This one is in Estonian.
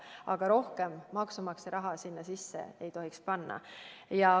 Aga rohkem maksumaksja raha sinna sisse ei tohiks panna.